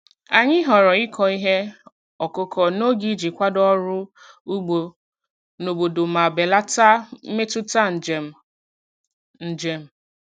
Anyị họọrọ ịkọ ihe ọkụkọ n'oge iji kwado ọrụ ugbo n'obodo ma belata mmetụta njem. njem.